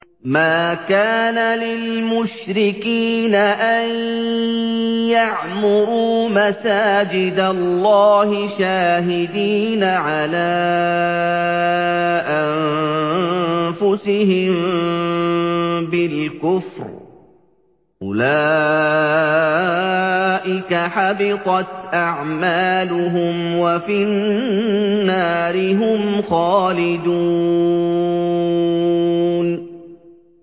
مَا كَانَ لِلْمُشْرِكِينَ أَن يَعْمُرُوا مَسَاجِدَ اللَّهِ شَاهِدِينَ عَلَىٰ أَنفُسِهِم بِالْكُفْرِ ۚ أُولَٰئِكَ حَبِطَتْ أَعْمَالُهُمْ وَفِي النَّارِ هُمْ خَالِدُونَ